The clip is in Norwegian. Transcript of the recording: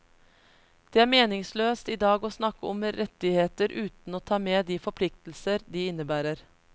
Det er meningsløst i dag å snakke om rettigheter uten å ta med de forpliktelser de innebærer.